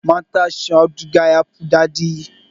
Matashin auduga yafi dadin amfani